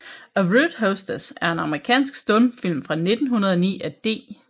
A Rude Hostess er en amerikansk stumfilm fra 1909 af D